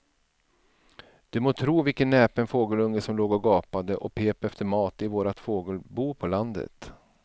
Du må tro vilken näpen fågelunge som låg och gapade och pep efter mat i vårt fågelbo på landet.